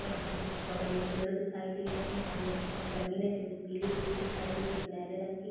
यहाँ पर कुछ बगल में पेड़ दिखाई दे रहे हैं। सामने की तरफ ज़मीन है जो की पीली-पीली दिखाई दे रही है सुनहरे रंग की।